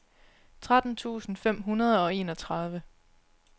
tretten tusind fem hundrede og enogtredive